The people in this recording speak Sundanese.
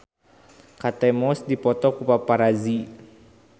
Kate Moss dipoto ku paparazi